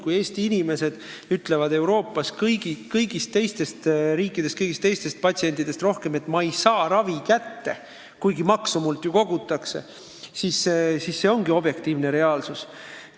Kui Eestis ütleb suurem protsent inimesi kui kõigis teistes Euroopa riikides, et ma ei pääse ravile, kuigi makse mult ju võetakse, siis see ongi objektiivne reaalsus.